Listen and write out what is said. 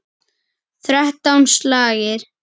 Þrettán slagir.